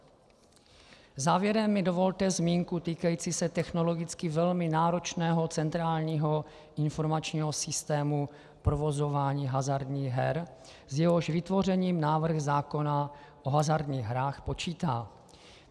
Závěrem mi dovolte zmínku týkající se technologicky velmi náročného centrální informačního systému provozování hazardních her, s jehož vytvořením návrh zákona o hazardních hrách počítá.